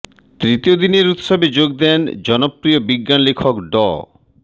তৃতীয় দিনের উৎসবে যোগ দেন জনপ্রিয় বিজ্ঞান লেখক ড